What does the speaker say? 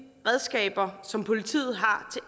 redskaber som politiet har